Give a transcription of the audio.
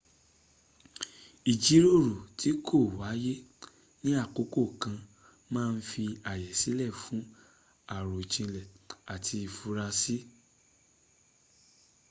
ijiroro ti ko waye ni akoko kanna ma n fi aye sile fun arojinle ati ifura si